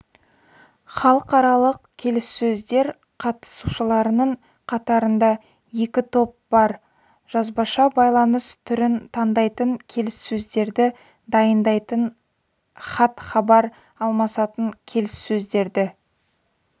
халықаралық келіссөздер қатысушыларының қатарында екі топ бар жазбаша байланыс түрін таңдайтын келіссөздерді дайындайтын хат-хабар алмасатын келіссөздерді